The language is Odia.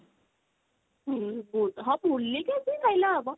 ଓଃ ହଁ ବୁଲିକି ଆସିକି ଖାଇଲେ ହବ